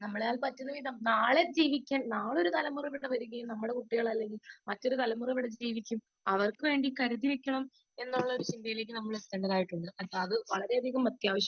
speaker 2 നാളെ ഒരു തലമുറ ഇവിടെ വരികയും നമ്മളെ കുട്ടികൾ അല്ലെങ്കിൽ മറ്റൊരു തലമുറ ഇവിടെ ജീവിക്കാൻ അവർക്കു വേണ്ടി കരുതി വെക്കാം എന്നുള്ള ചിന്തയിലേക്ക് നാം എത്തേണ്ടതുണ്ട് .. വളരെ അധികം അത്യാവശ്യമാണ്